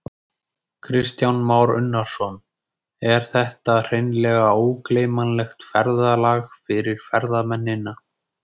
Kristján Már Unnarsson: Er þetta hreinlega ógleymanlegt ferðalag fyrir ferðamennina?